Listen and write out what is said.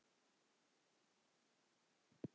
Verslað í stórmarkaði.